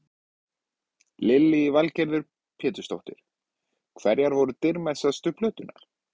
Lillý Valgerður Pétursdóttir: Hverjar eru dýrmætustu plöturnar?